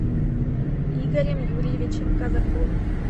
игорем юрьевичем казаковым